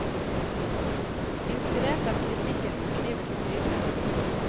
Inspirert av kritikken skriver hun videre.